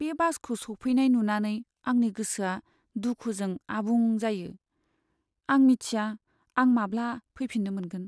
बे बासखौ सौफैनाय नुनानै आंनि गोसोआ दुखुजों आबुं जायो। आं मिथिया आं माब्ला फैफिननो मोनगोन!